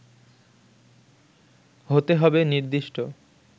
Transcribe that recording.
হতে হবে নির্দিষ্ট